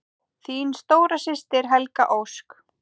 Þín stóra systir, Helga Ósk.